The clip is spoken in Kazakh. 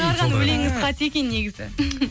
шығарған өлеңіңіз қате екен негізі